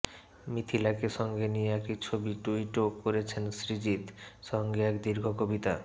মিথিলাকে সঙ্গে নিয়ে একটি ছবি ট্যুইটও করেছেন সৃজিত সঙ্গে এক দীর্ঘ কবিতা